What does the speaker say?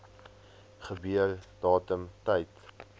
gebeur datum tyd